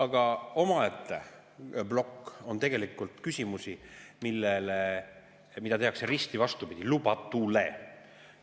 Aga omaette plokk on tegelikult küsimustest, mida tehakse risti vastupidi lubatule.